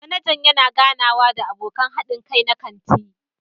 Manajan yana ganawa da abokan haɗin kai na kantin.